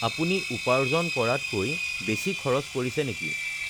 আপুনি উপাৰ্জন কৰাতকৈ বেছি খৰচ কৰিছে নেকি?